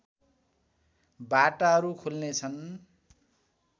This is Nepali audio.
बाटाहरू खुल्नेछ्न्